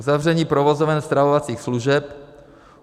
uzavření provozoven stravovacích služeb,